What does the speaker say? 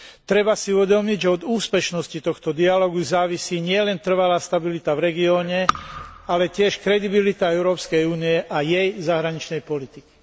Treba si uvedomiť, že od úspešnosti tohto dialógu závisí nielen trvalá stabilita v regióne, ale tiež kredibilita Európskej únie a jej zahraničnej politiky.